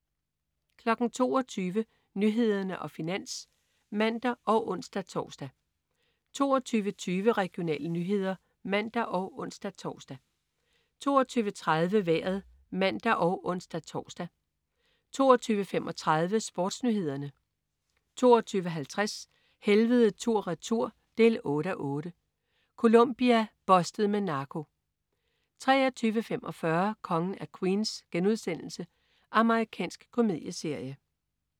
22.00 Nyhederne og Finans (man og ons-tors) 22.20 Regionale nyheder (man og ons-tors) 22.30 Vejret (man og ons-tors) 22.35 SportsNyhederne 22.50 Helvede tur/retur 8:8. Colombia. "Bustet" med narko 23.45 Kongen af Queens.* Amerikansk komedieserie